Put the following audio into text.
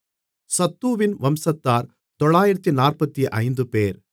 சத்தூவின் வம்சத்தார் 945 பேர்